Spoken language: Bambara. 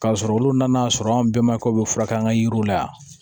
K'a sɔrɔ olu nana sɔrɔ an bɛɛ ma kɛ bɛ furakɛ an ka yiriw la yan